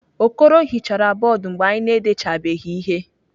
Okoro hichara bọọdụ mgbe anyị na-edechabeghị ihe.